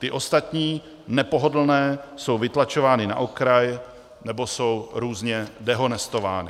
Ty ostatní, nepohodlné, jsou vytlačovány na okraj nebo jsou různě dehonestovány.